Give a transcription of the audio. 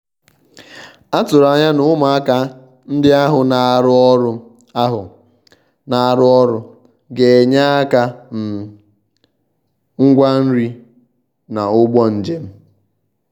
um a tụ̀rụ̀ ànyà na ụmụàkà ndí ahụ̀ na-arụ́ ọrụ ahụ̀ na-arụ́ ọrụ gā-ényè aka na um ngwá nri na ụ̀gwọ̀ ùgbò njem.